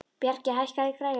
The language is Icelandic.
Bjarki, hækkaðu í græjunum.